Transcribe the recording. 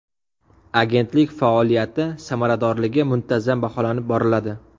Agentlik faoliyati samaradorligi muntazam baholanib boriladi.